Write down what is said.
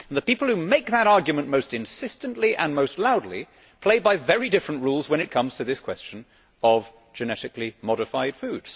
And yet the people who make that argument most insistently and most loudly play by very different rules when it comes to this question of genetically modified food.